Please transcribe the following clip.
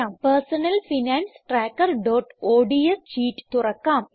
personal finance trackerഓഡ്സ് sheet തുറക്കാം